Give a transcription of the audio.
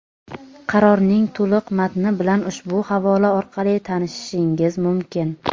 Qarorning to‘liq matni bilan ushbu havola orqali tanishishingiz mumkin.